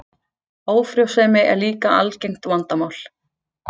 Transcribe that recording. Ófrjósemi er líka algengt vandamál.